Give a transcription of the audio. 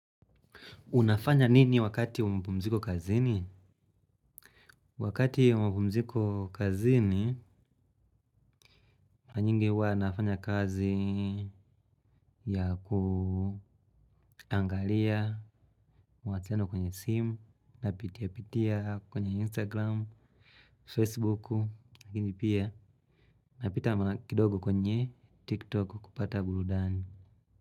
Unafanya nini wakati wa mapumziko kazini? Wakati umabumziko kazini, nyingi huwa nafanya kazi ya kuangalia mawasiliano kwenye simu napitiapitia kwenye instagram facebook lakini pia napita kidogo kwenye tiktok kupata burudani.